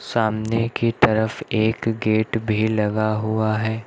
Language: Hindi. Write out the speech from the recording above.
सामने की तरफ एक गेट भी लगा हुआ है।